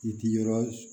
I ti yɔrɔ